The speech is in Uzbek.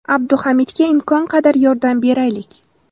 Abduhamidga imkon qadar yordam beraylik!